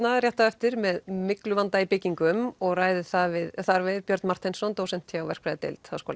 á eftir með mygluvanda í byggingum og ræðir þar við þar við Björn Marteinsson dósent hjá verkfræðideild h